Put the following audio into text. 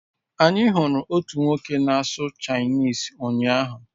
Anyị hụrụ otu nwoke na-asụ Chinese ụnyahụ